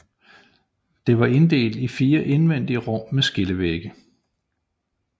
Det var inddelt i 4 indvendige rum med skillevægge